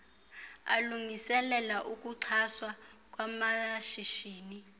alungiselela ukuxhaswa kwamashishini